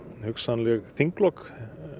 hugsanleg þinglok